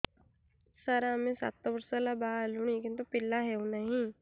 ସାର ଆମେ ସାତ ବର୍ଷ ହେଲା ବାହା ହେଲୁଣି କିନ୍ତୁ ପିଲା ହେଉନାହିଁ